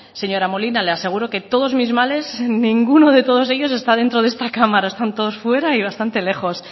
señora molina le aseguro que todos mis males ninguno de todos ellos está dentro de esta cámara están todos fuera y bastante lejos